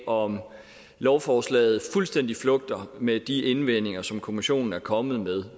om lovforslaget fuldstændig flugter med de indvendinger som kommissionen er kommet med